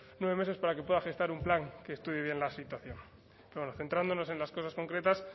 nueve meses para que pueda gestar un plan que estudie bien la situación bueno centrándonos en las cosas concretas